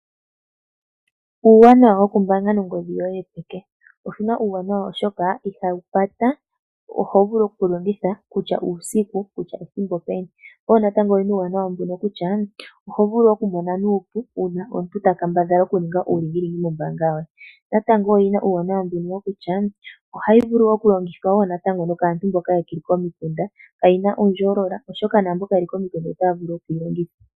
Uuwanawa woku pungula nongodhi yoye yopeke. Oshina uuwanawa ohayi vulu oku longithwa woo natango nokaantu mboka yeli komikunda kayina oondjoolola oshoka naantu mboka yeli komikumda otaya vulu oku yi longitha.